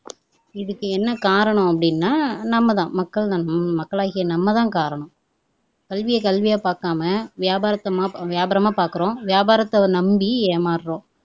இதுக்கு என்ன காரணம் அப்படின்னா நம்மதான் மக்கள் நம் மக்களாகிய நம்ம தான் காரணம். கல்வியை கல்வியா பாக்காம வியாபாரத் வியாபாரமா பாக்குறோம் வியாபாரத்தை நம்பி ஏமாறுறோம்